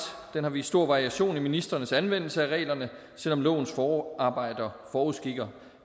den har vist stor variation i ministrenes anvendelse af reglerne selv om lovens forarbejder forudskikker